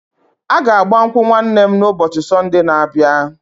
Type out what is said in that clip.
A ga-agba nkwụ nwanne m na ụbọchị Sonde n'abia